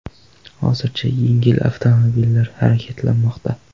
Hozircha yengil avtomobillar harakatlanmoqda.